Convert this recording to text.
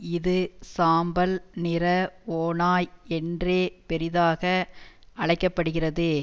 இது சாம்பல் நிற ஓநாய் என்றே பெரிதாக அழைக்க படுகிறது